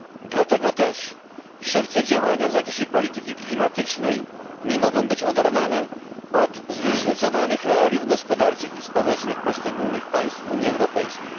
Dlatego też wszelkie działania w zakresie polityki klimatycznej nie mogą być oderwane od zróżnicowanych realiów gospodarczych i społecznych poszczególnych państw Unii Europejskiej.